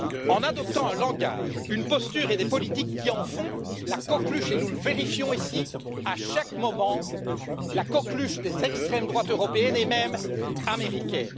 En adoptant un langage, une posture et des politiques qui en font la coqueluche et nous le vérifions ici à chaque moment des extrêmes droites européennes et même américaine.